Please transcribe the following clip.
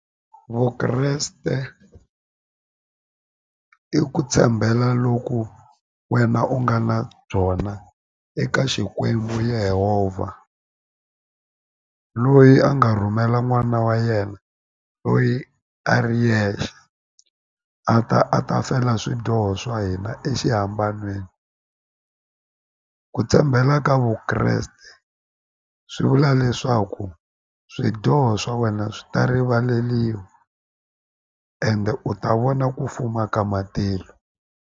Vukreste i ku tshembela loku wena u nga na byona eka xikwembu Yehovha loyi a nga rhumela n'wana wa yena loyi a ri yexe a ta a ta fela swidyoho swa hina exihambanweni ku tshembela ka Vukreste swi vula leswaku swidyoho swa wena swi ta rivaleliwa ende u ta vona ku fuma ka matilo.